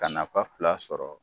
Ka nafa fila sɔrɔ